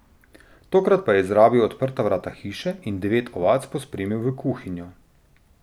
Tokrat pa je izrabil odprta vrata hiše in devet ovac pospremil v kuhinjo.